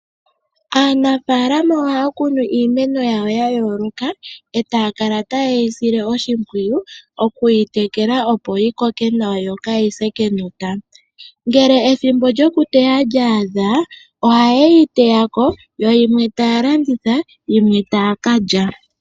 Aanafaalama ohaya kunu iimeno yawo ya yooloka etaya kala tayeyi sile oshimpwiyu okuyi tekela opo yi koke nawa yo kaayise kenota. Ngele ethimbo lyokuteya lyaadha oha yeyi teyako yo yimwe taya landitha yimwe taya ka lya.